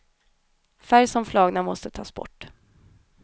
Färg som flagar måste tas bort.